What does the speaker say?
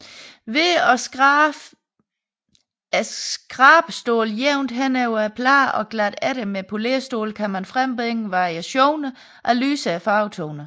Ved at skrabe skrabestålet jævnt henover pladen og glatte efter med polérstål kan man frembringe variationer af lysere farvetoner